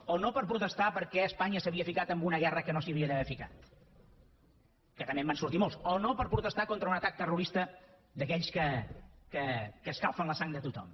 o no per protestar perquè espanya s’havia ficat en una guerra en què no s’havia d’haver ficat que també en van sortir molts o no per protestar contra un atac terrorista d’aquells que escalfen la sang de tothom